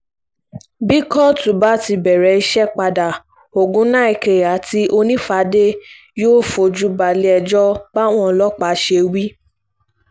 bí kóòtù bá ti bẹ̀rẹ̀ iṣẹ́ padà ọgùnnàìke àti onífàdé yóò fojú balẹ̀-ẹjọ́ báwọn ọlọ́pàá ṣe wí